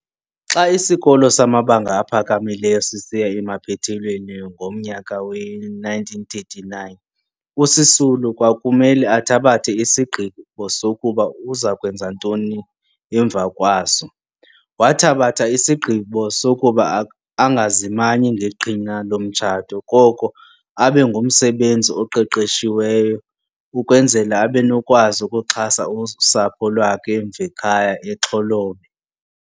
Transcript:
Xa isikolo samabanga aphakamileyo sisiya emaphethelweni ngomnyaka we-1939 uSisulu kwakumele athabathe isigqibo sokuba uzakwenza ntoni emva kwaso. Wathabatha isigqibo sokuba angazimanyi ngeqhina lomtshato koko abengumsebenzi oqeqeshiweyo ukwenzela abenokukwazi ukuxhasa usapho lwakhe emv' ekhaya eXholobe.